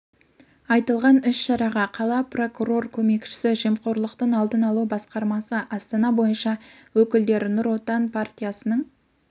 айтылған іс шараға қала прокурор көмекшісі жемқорлықтың алдын алу басқармасы астана бойынша өкілдері нұр отан партиясының